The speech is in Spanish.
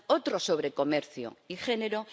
otro sobre comercio y género